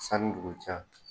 Sani dugu cɛ